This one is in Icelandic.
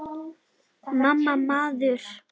MAMMA, maður!